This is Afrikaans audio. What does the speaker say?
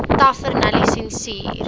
tavernelisensier